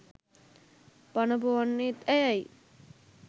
පන ‍පොවන්නෙත් ඇයයි.